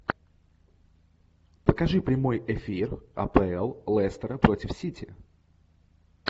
покажи прямой эфир апл лестера против сити